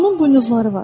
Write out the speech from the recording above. Onun buynuzları var.